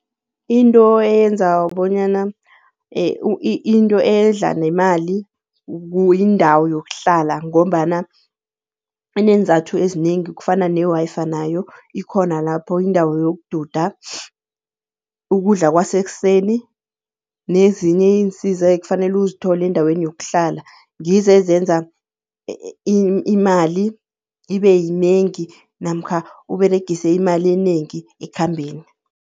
Into eyenza bonyana into edla nemali yindawo yokuhlala ngombana ineenzathu ezinengi kufana ne-Wi-Fi nayo ikhona lapho, indawo yokududa, ukudla kwasekuseni nezinye iinsiza ekufanele uzithole endaweni yokuhlala ngizo ezenza imali ibe yinengi namkha uberegise imali enengi ekhambeni.